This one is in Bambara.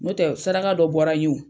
N'o tɛ saraka dɔ bɔra n ye o.